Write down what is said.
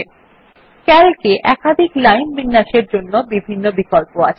CALC এ একাধিক line বিন্যাসের জন্য বিভিন্ন বিকল্প আছে